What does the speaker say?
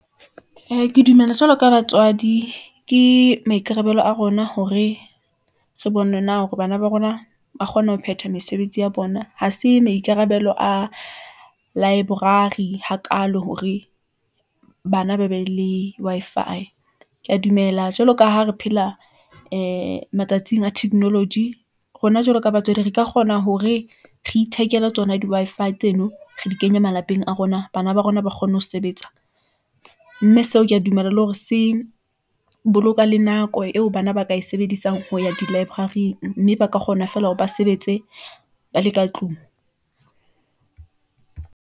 Ee, ke dumela jwalo ka batswadi , ke maikarabelo a rona hore re bone na hore bana ba rona , ba kgona ho phethwa mesebetsi ya bona .Ha se maikarabelo a library hakalo hore bana ba be le Wi-Fi . Ke ya dumela jwalo ka ha re phela ee matsatsing a technology , rona jwalo ka batswadi, re ka kgona hore re ithekela tsona di Wi-Fi tseno , re di kenye malapeng a rona. Bana ba rona ba kgone ho sebetsa , mme seo ke ya dumela le hore se boloka le nako eo bana ba ka e sebedisang, ho ya di library-ing, mme ba ka kgona feela hore ba sebetse ba le ka tlung.